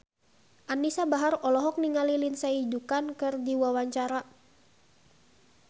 Anisa Bahar olohok ningali Lindsay Ducan keur diwawancara